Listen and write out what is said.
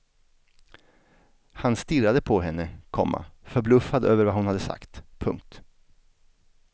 Han stirrade på henne, komma förbluffad över vad hon hade sagt. punkt